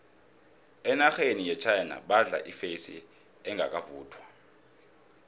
enarheni yechina badla ifesi engakavuthwa